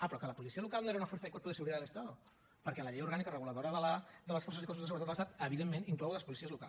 ah però que la policia local no era una fuerza y cuerpo de seguridad del estado perquè la llei orgànica reguladora de les forces i cossos de seguretat de l’estat evidentment inclou les policies locals